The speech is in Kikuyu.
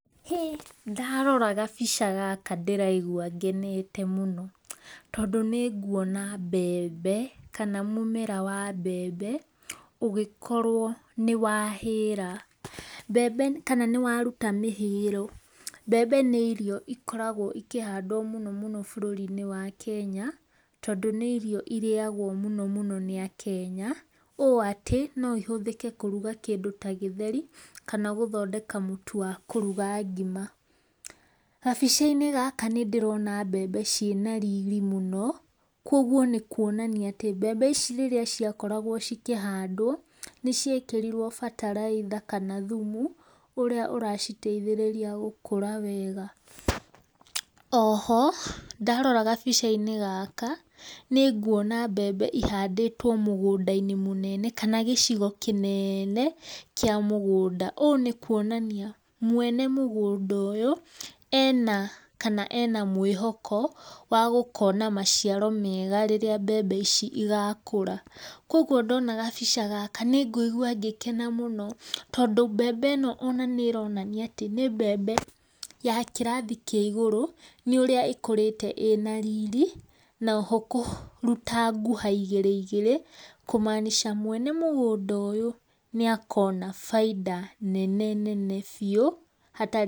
Hĩĩ ndarora gabĩca gaka ndĩraĩgũa genete mũno tũndũ nĩ gũona mbembe kana mũmera wa mbembe ũgĩkorwo nĩwahĩra, mbembe kana nĩwarũta mĩhĩro. Mbembe nĩ irio ikoragwo ikahandwa mũno bũrũri inĩ wa Kenya tondũ nĩ irio irĩagwo mũno mũno nĩ akenya ũ atĩ no ihũthĩke kũrũga kindũ ta gĩtheri kana gũthondeka mũtũ wa kũruga ngima. Gabica inĩ gaka nĩndĩrona mbembe cĩna rĩrĩ mũno kwogwo nĩ kũonania atĩ mbembe ici rĩrĩa ciakoragwo cikahandwo nĩ ciĩtĩrĩrĩo batalaĩtha kana thũmũ, ũrĩa ũraciteithĩa gũkũra wega. Oho ndarora gabĩca inĩ gaka nĩ gũona mbembe ihandĩtwo mũgũnda inĩ mũnene kana gĩcigo kĩnene kĩa mũgũnda ũ nĩ kũonanĩa, mwene mũgũnda ũyũ ena kana ena mwĩhoko wa gũkona macĩaro mega rĩrĩa mbembe ici cĩgakũra. Kwogwo ndona gabĩca gaka nĩgũĩgua gĩkena mũno tondũ mbembe ĩno nĩ ĩraonania atĩ nĩ mbembe ya kĩrathĩ kĩa igũrũ nĩ ũrĩa ĩkũrĩte ina riri na kũrũta gũha igere igere kũmaancha mwene mũgũnda ũyũ nĩakona baĩda nene nene biũ hatarĩ.